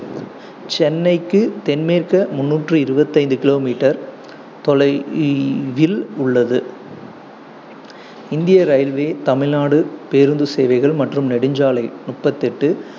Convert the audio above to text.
சென்னைக்கு தென்மேற்கு முந்நூற்று இருவத்தி ஐந்து kilometer தொலைவில் உள்ளது. இந்திய இரயில்வே, தமிழ்நாடு பேருந்து சேவைகள் மற்றும் நெடுஞ்சாலை முப்பத்து எட்டு